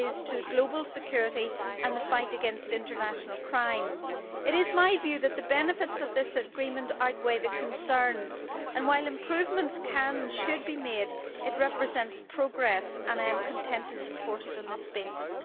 to global security and the fight against international crime. It is my view that the benefits of this agreement outweigh the concerns and, while improvements can and should be made, it represents progress. I am content to support it on this basis.